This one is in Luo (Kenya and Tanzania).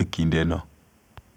e kinde no.